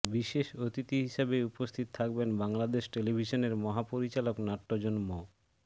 বিশেষ অতিথি হিসাবে উপস্থিত থাকবেন বাংলাদেশ টেলিভিশনের মহাপরিচালক নাট্যজন ম